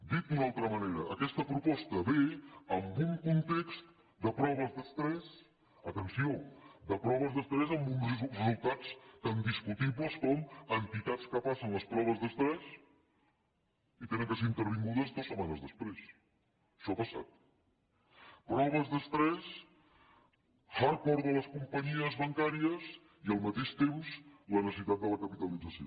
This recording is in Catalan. dit d’una altra manera aquesta proposta ve en un context de proves d’estrès atenció de proves d’estrès amb uns resultats tan discutibles com entitats que passen les proves d’estrès i han de ser intervingudes dues setmanes després això ha passat proves d’estrès hard core de les companyies bancàries i al mateix temps la necessitat de la capitalització